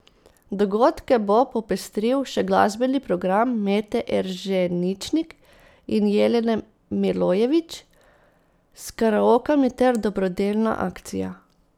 Dogodke bo popestril še glasbeni program Mete Erženičnik in Jelene Milojević s karaokami ter dobrodelna akcija.